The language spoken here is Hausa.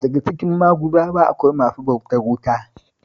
Daka cikin Maguzawa akwai masu bautar wuta